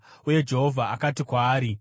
Uye Jehovha akati kwaari,